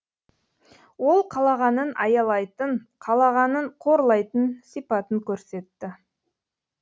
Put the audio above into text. ол қалағанын аялайтын қалағанын қорлайтын сипатын көрсетті